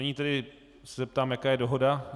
Nyní se tedy zeptám, jaká je dohoda.